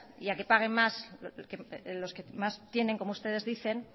y a que paguen más los que más tienen como ustedes dicen